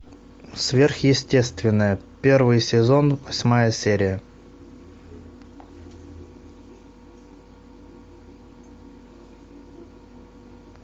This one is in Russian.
сверхъестественное первый сезон восьмая серия